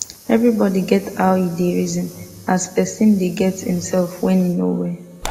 evribodi get how e da reson as person da get himsef when he no well